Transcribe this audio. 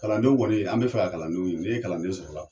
Kalandenw kɔni an be fɛ ka kalandenw ɲinin n'e kalanden sɔrɔla